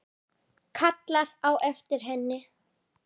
Kallar á eftir henni.